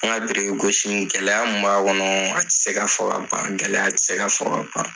An ka biriki gosi in, gɛlɛya mun b'a kɔnɔ a ti se ka fɔ ka ban. Gɛlɛya ti se ka fɔ ka ban